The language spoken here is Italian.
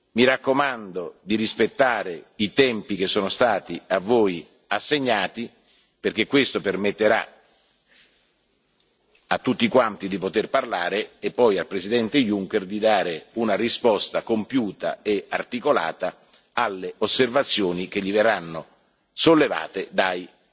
Mi raccomando di rispettare i tempi che vi sono stati assegnati, perché questo permetterà a tutti quanti di esprimersi e poi al Presidente Juncker di dare una risposta compiuta e articolata alle osservazioni che gli verranno formulate